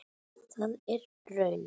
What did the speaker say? Er það raunin?